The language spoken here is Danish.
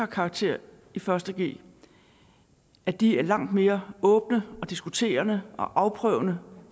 karakterer i første g at de er langt mere åbne og diskuterende og afprøvende